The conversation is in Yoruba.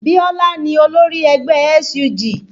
Biola ni olórí ẹgbẹ́ SUG